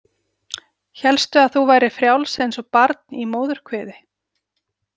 Hélstu að þú værir frjáls eins og barn í móðurkviði?